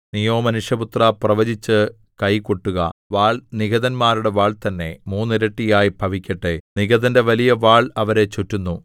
നീയോ മനുഷ്യപുത്രാ പ്രവചിച്ച് കൈകൊട്ടുക വാൾ നിഹതന്മാരുടെ വാൾ തന്നെ മൂന്നിരട്ടിയായി ഭവിക്കട്ടെ നിഹതന്റെ വലിയ വാൾ അവരെ ചുറ്റുന്നു